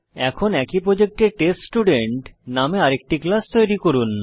এখন একই প্রজেক্টে টেস্টস্টুডেন্ট নামে আরেকটি ক্লাস তৈরি করুন